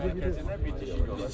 məktəzinə bir tikili olacaq.